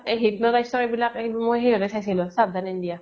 এই hypnotize ৰ এইবিলাক, মই সেই চাইছিলো চাবধান india